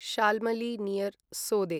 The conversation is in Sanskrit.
शाल्मली नियर् सोदे